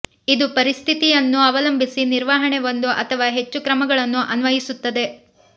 ಇದು ಪರಿಸ್ಥಿತಿಯನ್ನು ಅವಲಂಬಿಸಿ ನಿರ್ವಹಣೆ ಒಂದು ಅಥವಾ ಹೆಚ್ಚು ಕ್ರಮಗಳನ್ನು ಅನ್ವಯಿಸುತ್ತದೆ